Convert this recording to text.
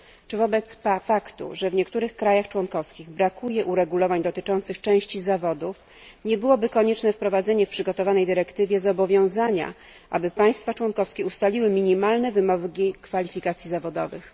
Czy wobec faktu, że w niektórych krajach członkowskich brakuje uregulowań dotyczących części zawodów, nie byłoby konieczne wprowadzenie w przygotowanej dyrektywie zobowiązania, aby państwa członkowskie ustaliły minimalne wymogi kwalifikacji zawodowych?